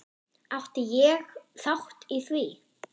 Átti ég þátt í því?